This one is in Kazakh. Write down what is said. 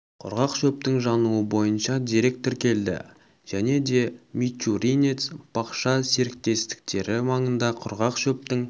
құрғақ шөптің жануы бойынша дерек тіркелді және де мичуринец бақша серіктестіктері маңында құрғақ шөптің